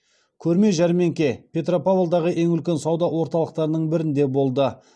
көрме жәрмеңке петропавлдағы ең үлкен сауда орталықтарының бірінде болды